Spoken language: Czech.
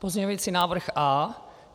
Pozměňovací návrh A.